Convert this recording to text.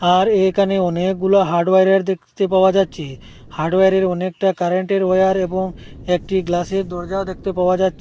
আর একানে অনেকগুলো হার্ডওয়ারের দেকতে পাওয়া যাচ্ছে হার্ডওয়ারের অনেকটা কারেন্টের ওয়ার এবং একটি গ্লাসের দরজাও দেখতে পাওয়া যাচ্ছে।